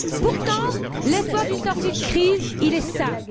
Pourtant, l'espoir d'une sortie de crise est simple.